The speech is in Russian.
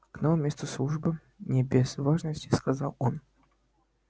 к новому месту службы не без важности сказал он